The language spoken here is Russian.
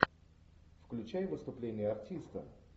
включай выступление артиста